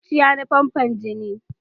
Zuciya na famfo jini.